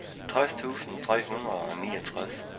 tres tusind tre hundrede og niogtres